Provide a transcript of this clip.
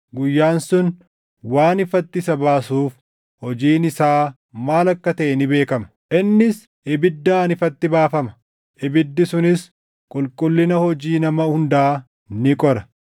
guyyaan sun waan ifatti isa baasuuf hojiin isaa maal akka taʼe ni beekama. Innis ibiddaan ifatti baafama; ibiddi sunis qulqullina hojii nama hundaa ni qora.